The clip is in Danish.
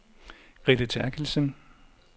Grete Therkildsen